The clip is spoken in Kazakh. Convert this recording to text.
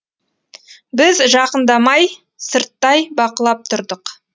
біз жақындамай сырттай бақылап тұрдық